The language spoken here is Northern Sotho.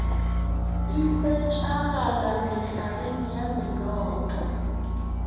e hwetšegala mehlareng ya menoto